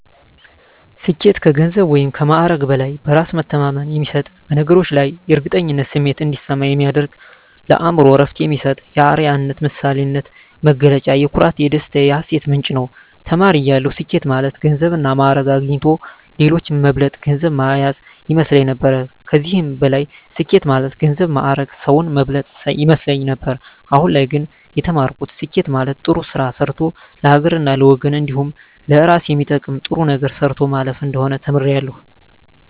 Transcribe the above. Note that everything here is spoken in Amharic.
ስኬት ከገንዘብ ወይም ከማዕረግ በላይ በእራስ መተማመን የሚሰጥ በነገሮች ላይ የእርግጠኝነት ስሜት እንዲሰማ የሚያደርግ ለአእምሮ እረፍት የሚሰጥ የአረያነት የምሳሌነት መገለጫ የኩራት የደስታ የሀሴት ምንጭ ነዉ። ተማሪ እያለሁ ስኬት ማለት ገንዘብና ማእረግ አግኝቶ ሌሎችን መብለጥ ገንዘብ ማያዝ ይመስለኝ ነበር ከዚህም በላይ ስኬት ማለት ገንዘብ ማእረግ ሰዉን መብለጥ ይመስለኝ ነበር አሁን ላይ ግን የተማርኩት ስኬት ማለት ጥሩ ስራ ሰርቶ ለሀገርና ለወገን እንዲሁም ለእራስ የሚጠቅም ጥሩ ነገር ሰርቶ ማለፍ እንደሆነ ተምሬያለሁ።